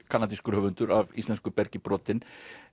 kanadískur höfundur af íslensku bergi brotinn